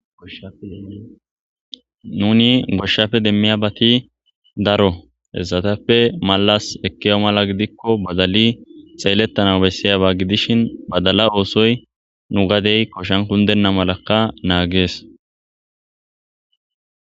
Nuuni goshshape demmiyabati daro. Hessatappe malas ekkiya mala gidikko badali xeeletanaw bessiyaba gidishin badala oosoy nu gadey koshan kunddenna malakka naages.